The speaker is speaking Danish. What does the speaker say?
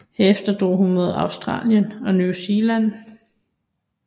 Herefter drog hun mod Australien og New Zealand